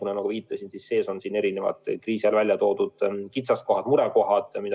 Nagu ma viitasin, siin on välja toodud erinevad kriisi ajal selgunud kitsaskohad, murekohad.